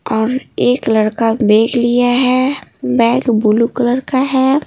और एक लड़का बैग लिया है बैग ब्लू कलर का है।